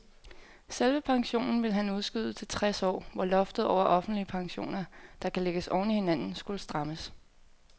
Selve pensionen ville han udskyde til tres år, hvor loftet over offentlige pensioner, der kan lægges oven i hinanden, skulle strammes.